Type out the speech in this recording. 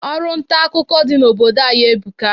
Ọrụ ntaakụkọ dị n'obodo anyị ebuka.